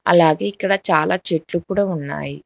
అలాగే ఇక్కడ చాలా చెట్లు కూడా ఉన్నాయి.